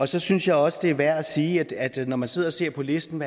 så synes jeg også det er værd at sige når man sidder og ser på listen